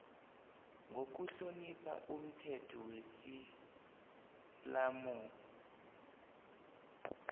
ngokuhlonipha umthetho wesiislamu